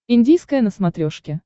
индийское на смотрешке